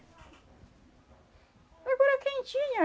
Agora quem tinha.